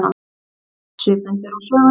Svipmyndir úr sögunni